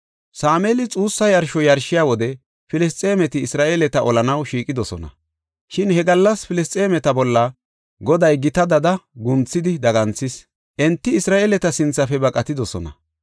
Sameeli xuussa yarsho yarshiya wode Filisxeemeti Isra7eeleta olanaw shiiqidosona. Shin he gallas Filisxeemeta bolla Goday gita dada gunthidi daganthin, enti Isra7eeleta sinthafe baqatidosona.